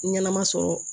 Ɲɛnɛma sɔrɔ